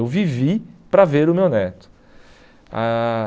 Eu vivi para ver o meu neto. Ah